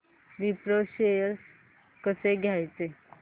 Wipro shares कसे घ्यायचे